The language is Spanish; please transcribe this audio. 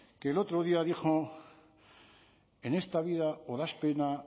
que el otro día dijo en esta vida o das pena